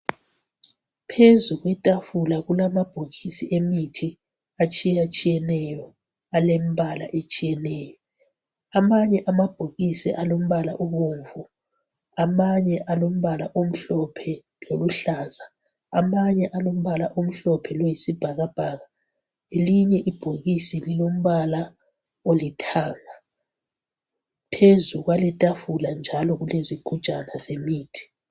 Phezu kwetafula kulamabhokisi emithi atshiyatshiyeneyo alembala etshiyeneyo. Amanye amabhokisi alombala obomvu. Amanye alombala omhlophe loluhlaza. Amanye alombala omhlophe loyisibhakabhaka. Linye ibhokisi lilombala olithanga. Phezu kwaletafula njalo kulezigujana zemithi.